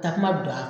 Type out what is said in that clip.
Takuma don a kan